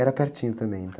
Era pertinho também, então